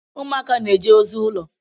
Ụmụaka na-eje ozi ụlọ.